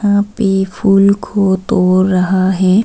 यहां पे फूल को तोड़ रहा है।